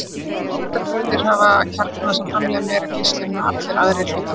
Virkar vetrarbrautir hafa kjarna sem framleiðir meiri geislun en allir aðrir hlutar þeirra.